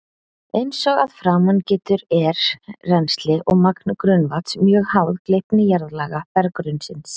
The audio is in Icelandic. Eins og að framan getur er rennsli og magn grunnvatns mjög háð gleypni jarðlaga berggrunnsins.